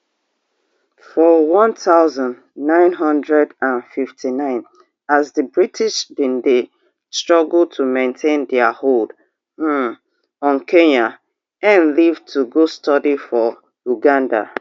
for one thousand, nine hundred and fifty-nine as di british bin dey struggle to maintain dia hold um on kenya ngg leave to go study for uganda